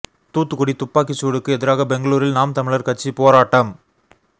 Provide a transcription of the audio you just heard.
தூத்துக்குடி துப்பாக்கி சூடுக்கு எதிராக பெங்களூரில் நாம் தமிழர் கட்சி போராட்டம்